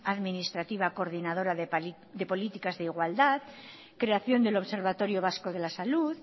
administrativa coordinadora de políticas de igualdad creación del observatorio vasco de la salud